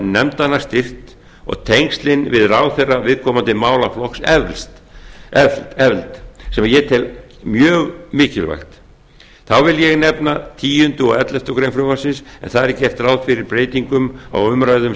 nefndanna styrkt og tengslin við ráðherra viðkomandi málaflokks efld sem ég tel mjög mikilvægt þá vil ég nefna tíunda og elleftu greinar frumvarpsins en þar er gert ráð fyrir breytingum á umræðum